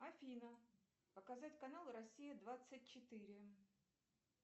афина показать канал россия двадцать четыре